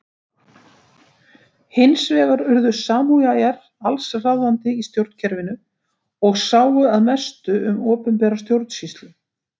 Hins vegar urðu samúræjar alls ráðandi í stjórnkerfinu og sáu að mestu um opinbera stjórnsýslu.